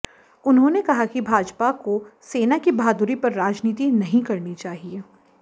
उन्होंने कहा कि भाजपा को सेना की बहादुरी पर राजनीति नहीं करनी चाहिए